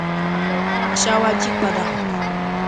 a fẹẹ ta àṣà wa jí padà